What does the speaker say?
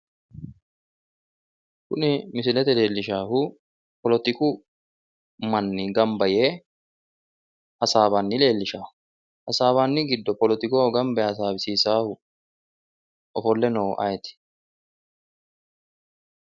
Kuni misilete leelishshahu politiku manni gamba yee hasaawanni leellishshawo, hassabbanni giddo oolitiku giddo gamba yee hasaawisissahu ofolle noohu ayeeti?